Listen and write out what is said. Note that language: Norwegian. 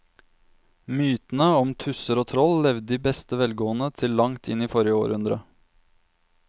Mytene om tusser og troll levde i beste velgående til langt inn i forrige århundre.